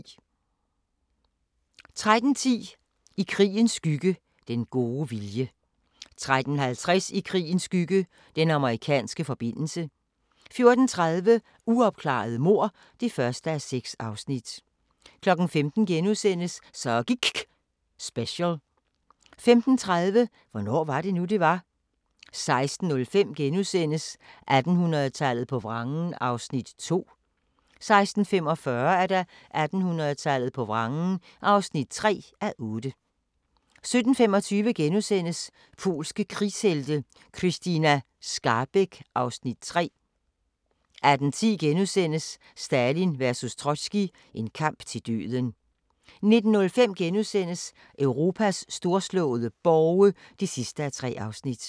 13:10: I krigens skygge – Den gode vilje 13:50: I krigens skygge – Den amerikanske forbindelse 14:30: Uopklarede mord (1:6) 15:00: Så giKK' special * 15:35: Hvornår var det nu, det var? 16:05: 1800-tallet på vrangen (2:8)* 16:45: 1800-tallet på vrangen (3:8) 17:25: Polske krigshelte – Krystyna Skarbek (Afs. 3)* 18:10: Stalin vs Trotskij – en kamp til døden * 19:05: Europas storslåede borge (3:3)*